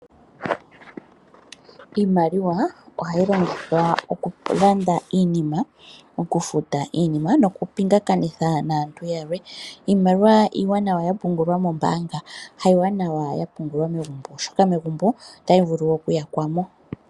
Iimaliwa ohayi longithwa oku landa iinima, oku futa iinima noku pingakanitha naantu yalwe. Iimaliwa iiwanawa ya pungulwa moombanga, kayishi iiwanawa ya pungulwa megumbo oshoka megumbo otayi vulu oku yakwamo.